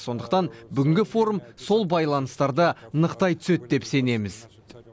сондықтан бүгінгі форум сол байланыстарды нықтай түседі деп сенеміз